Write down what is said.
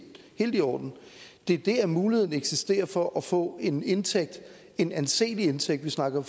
helt i orden det er det at muligheden eksisterer for at få en indtægt en anselig indtægt vi snakker